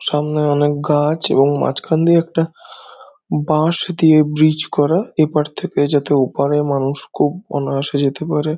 সামনে অনেক গাছ এবং মাছখান দিয়ে একটা বাঁশ দিয়ে ব্রীজ করা | এপার থেকে যাতে ওপারে মানুষ খুব অনায়াসে যেতে পারে।